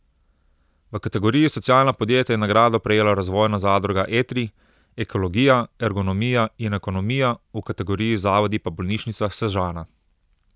V kategoriji socialna podjetja je nagrado prejela Razvojna zadruga Etri, ekologija, ergonomija in ekonomija, v kategoriji zavodi pa Bolnišnica Sežana.